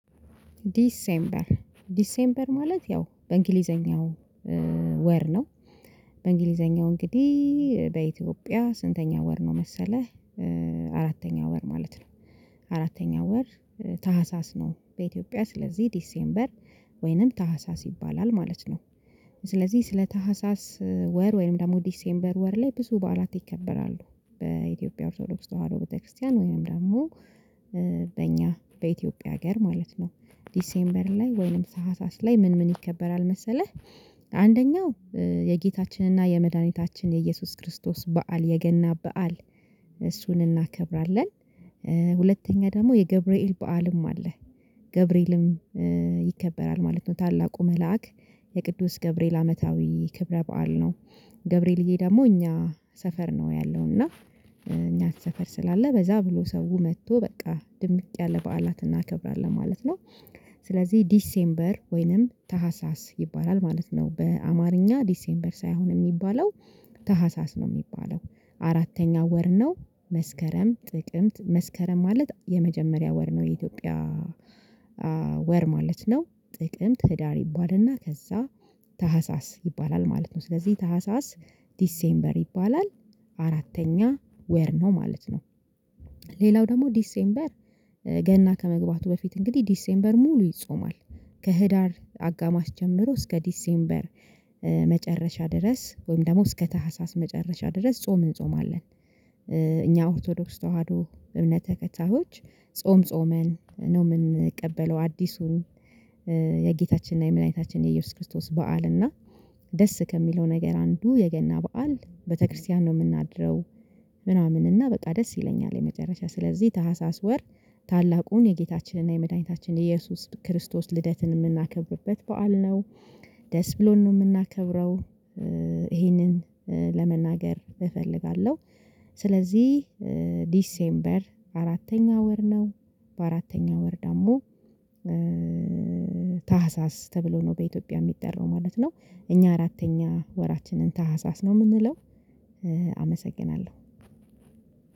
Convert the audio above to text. ዲሴምበር ዲሴምበር ማለት ያው በእንግሊዘኛው ወር ነው። በእንግሊዘኛው እንግዲህ በኢትዮጵያ ስንተኛ ወር ነው? መሰለህ አራተኛ ወር ማለት ነው። አራተኛ ወር ታህሳስ ነው። በኢትዮጵያ ስለዚህ ዲሴምበር ወይንም ታህሳስ ይባላል ማለት ነው። ስለዚህ ስለ ታህሳስ ወር ወይም ደግሞ ዲሴምበር ወር ላይ ብዙ በዓላት ይከበራሉ። በኢትዮጵያ ኦርቶዶክስ ተዋህዶ ቤተክርስቲያን ወይም ደግሞ በእኛ በኢትዮጵያ ሀገር ማለት ነው። ዲሴምበር ላይ ወይንም ታህሳስ ላይ ምን ምን ይከበራል መሰለህ? አንደኛው የጌታችንና የመድኃኒታችን የኢየሱስ ክርስቶስ በዓል የገና በዓል። እሱን እናከብራለን። ሁለተኛ ደግሞ የገብርኤል በዓልም አለ። ገብርኤልም ይከበራል ማለት ነው። ታላቁ መልአክ የቅዱስ ገብርኤል አመታዊ ክብረ በዓል ነው። ገብርኤል ደግሞ እኛ ሰፈር ነው ያለው እና እኛ ሰፈር ስላለ በዛ ብሎ ሰው መጥቶ በቃ ድምቅ ያለ በዓላትን እናከብራለን ማለት ነው። ስለዚህ ዲሴምበር ወይንም ታሀሳስ ይባላል ማለት ነው በአማርኛ ዲሴምበር ሳይሆን የሚባለው ታሀሳስ ነው የሚባለው አራተኛ ወር ነው። መስከረም ጥቅምት መስከረም ማለት የመጀመሪያ ወር ነው የኢትዮጵያ። ወር ማለት ነው። ጥቅምት ህዳር ይባልና ከዛ ታህሳስ ይባላል ማለት ነው። ስለዚህ ታህሳስ ዲሴምበር ይባላል። አራተኛ ወር ነው ማለት ነው። ሌላው ደግሞ ዲሴምበር ገና ከመግባቱ በፊት እንግዲህ ዲሴምበር ሙሉ ይጾማል። ከህዳር አጋማሽ ጀምሮ እስከ ዲሴምበር መጨረሻ ድረስ ወይም ደግሞ እስከ ታህሳስ መጨረሻ ድረስ ጾም እንጾማለን። እኛ ኦርቶዶክስ ተዋህዶ እምነት ተከታዮች ጾም ጾመን ነው የምንቀበለው አዲሱን። የጌታችንና የምንኝታችን የኢየሱስ ክርስቶስ በዓል እና ደስ ከሚለው ነገር አንዱ የገና በዓል ቤተክርስቲያን ነው የምናድረው። ምናምን እና በጣም ደስ ይለኛል። የመጨረሻ ስለዚህ ታህሳስ ወር ታላቁን የጌታችንና የመድኃኒታችን የኢየሱስ ክርስቶስ ልደትን የምናከብርበት በዓል ነው። ደስ ብሎን ነው የምናከብረው ይሄንን ለመናገር እፈልጋለሁ። ስለዚህ ዲሴምበር አራተኛ ወር ነው። በአራተኛ ወር ደግሞ ታህሳስ ተብሎ ነው በኢትዮጵያ የሚጠራው ማለት ነው። እኛ አራተኛ ወራችንን ታህሳስ ነው የምንለው። አመሰግናለሁ።